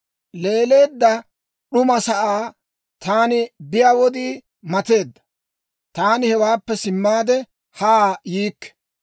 Leeleedda d'uma sa'aa taani biyaa wodii mateedda; taani hewaappe simmaade haa yiikke.